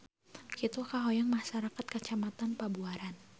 Kitu kahoyong masyarakat Kecamatan Pabuaran.